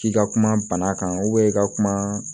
K'i ka kuma bana kan i ka kuma